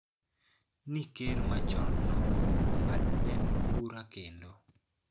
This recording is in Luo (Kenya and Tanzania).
Ni ker machonno ong`adne bura kendo